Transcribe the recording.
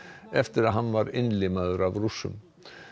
eftir að hann var innlimaður af Rússum